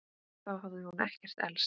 Þá hafði hún ekkert elst.